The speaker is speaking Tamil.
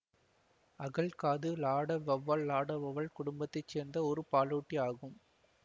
அகழ் காது லாட வௌவால் லாட வௌவால் குடும்பத்தை சேர்ந்த ஒரு பாலூட்டி ஆகும்